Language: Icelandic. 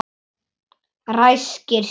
Ræskir sig.